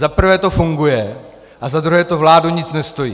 Za prvé to funguje a za druhé to vládu nic nestojí.